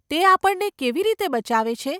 તે આપણને કેવી રીતે બચાવે છે?